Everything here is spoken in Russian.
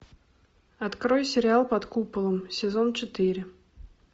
открой сериал под куполом сезон четыре